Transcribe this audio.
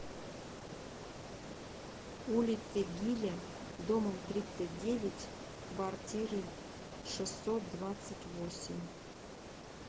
улицей гиля домом тридцать девять в квартирой шестьсот двадцать восемь